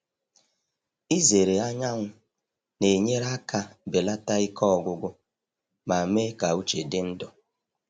Ịzere anyanwụ na-enyere aka belata ike ọgwụgwụ ma mee ka uche dị ndụ.